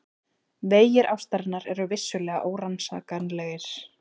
Vegir ástarinnar eru vissulega órannsakanlegir.